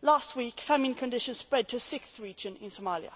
Last week, famine conditions spread to a sixth region in Somalia.